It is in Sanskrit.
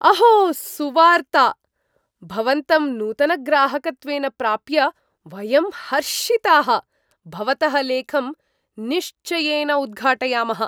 अहो सुवार्ता! भवन्तं नूतनग्राहकत्वेन प्राप्य वयं हर्षिताः। भवतः लेखं निश्चयेन उद्घाटयामः।